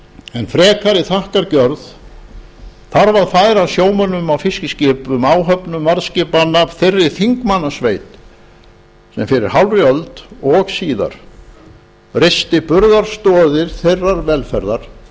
en frekari þakkargjörð þarf að færa sjómönnum á fiskiskipum áhöfnum varðskipanna þeirri þingmannasveit sem fyrir hálfri öld og síðar reisti burðarstoðir þeirrar velferðar